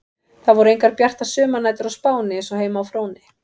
Það voru engar bjartar sumarnætur á Spáni eins og heima á Fróni.